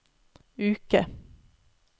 uke